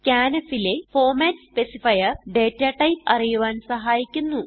scanf ലെ format specifier data type അറിയുവാൻ സഹായിക്കുന്നു